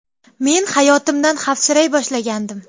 Men hayotimdan xavfsiray boshlagandim.